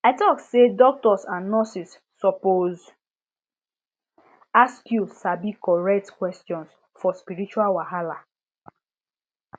i talk say doctors and nurses suppose ask you sabi correct questions for spiritual wahala